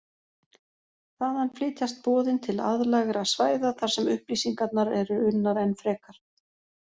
Þaðan flytjast boðin til aðlægra svæða þar sem upplýsingarnar eru unnar enn frekar.